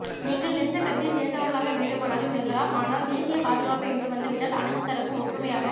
நீங்கள் எந்த கட்சியைச் சேர்ந்தவர்களாக வேண்டுமானாலும் இருக்கலாம் ஆனால் தேசிய பாதுகாப்பு என்று வந்துவிட்டால் அனைத்து தரப்பும் ஒற்றுமையாக